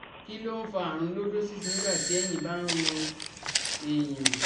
Kí ló ń fa àrùn lordosis nígbà tí ẹ̀yìn bá ń ro èèyàn?